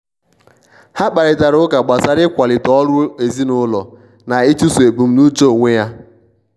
ha kparịtari ụka gbasara ịkwalite ọrụ ezinụlọ na ịchụso ebumnuche onwe ya.